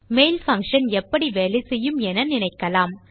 mail function எப்படி வேலை செய்யும் என நினைக்கலாம்